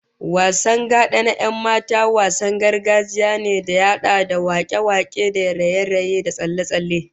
Wasan gada na 'yan mata, wasan gargajiya ne da ya hada da wakoki da raye-raye da tsalle-tsalle